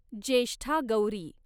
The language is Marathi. ज्येष्ठा गौरी